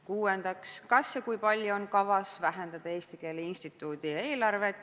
Kuuendaks, kas ja kui palju on kavas vähendada Eesti Keele Instituudi eelarvet?